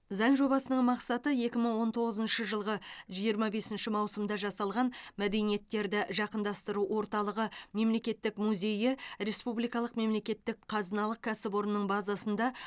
заң жобасының мақсаты екі мың он тоғызыншы жылғы жиырма бесінші маусымда жасалған мәдениеттерді жақындастыру орталығы мемлекеттік музейі республикалық мемлекеттік қазыналық кәсіпорнының базасында